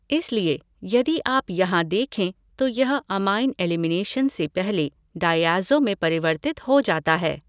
इसलिए यदि आप यहाँ देखें तो यह अमाइन एलिमिनेशन से पहले डाईऐज़ो में परिवर्तित हो जाता है।